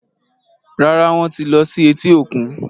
Rárá, Wọ́n ti lọ sí etí-òkun